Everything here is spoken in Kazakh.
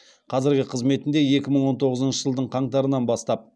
қазіргі қызметінде екі мың он тоғызыншы жылдың қаңтарынан бастап